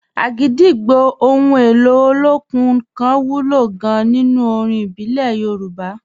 Agidigbo, ohun èlò olókùn kan wúlò gan-an nínú orin ìbílẹ̀ Yorùbá.